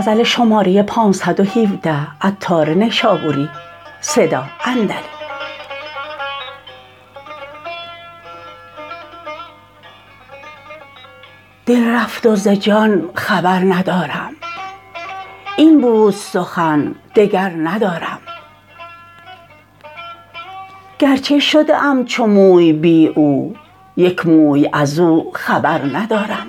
دل رفت وز جان خبر ندارم این بود سخن دگر ندارم گرچه شده ام چو موی بی او یک موی ازو خبر ندارم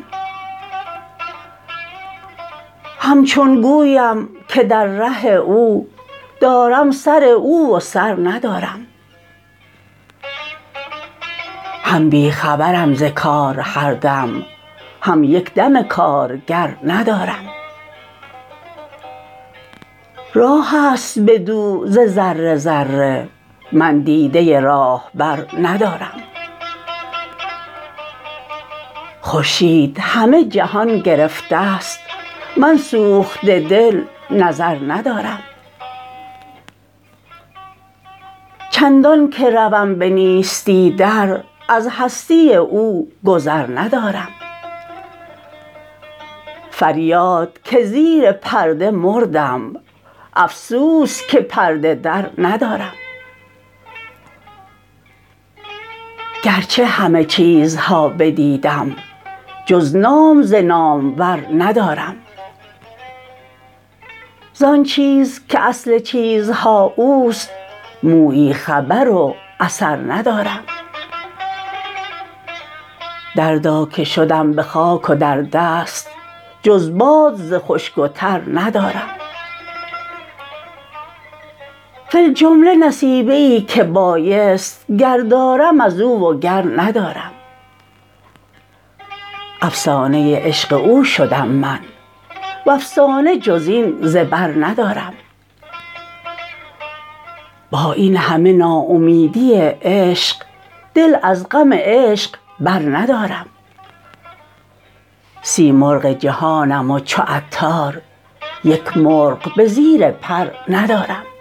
همچون گویم که در ره او دارم سر او و سر ندارم هم بی خبرم ز کار هر دم هم یک دم کارگر ندارم راه است بدو ز ذره ذره من دیده راهبر ندارم خورشید همه جهان گرفته است من سوخته دل نظر ندارم چندان که روم به نیستی در از هستی او گذر ندارم فریاد که زیر پرده مردم افسوس که پرده در ندارم گرچه همه چیزها بدیدم جز نام ز نامور ندارم زان چیز که اصل چیزها اوست مویی خبر و اثر ندارم دردا که شدم به خاک و در دست جز باد ز خشک و تر ندارم فی الجمله نصیبه ای که بایست گر دارم ازو وگر ندارم افسانه عشق او شدم من وافسانه جزین ز بر ندارم با این همه ناامیدی عشق دل از غم عشق بر ندارم سیمرغ جهانم و چو عطار یک مرغ به زیر پر ندارم